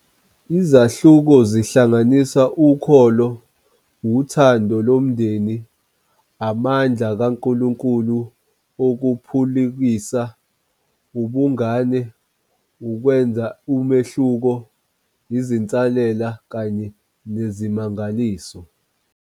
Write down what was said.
Izahluko zihlanganisa Ukholo, Uthando Lomndeni, Amandla KaNkulunkulu Okuphulukisa, Ubungane, Ukwenza Umehluko, Izinselele kanye Nezimangaliso.